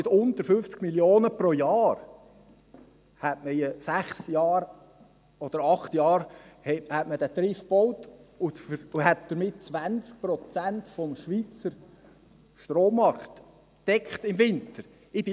Mit weniger als 50 Mio. Franken pro Jahr hätte man Trift in sechs oder acht Jahren gebaut, und damit wären 20 Prozent des Schweizer Strommarkts im Winter abgedeckt.